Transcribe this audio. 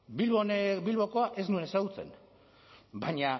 bilbokoa ez nuen ezagutzen baina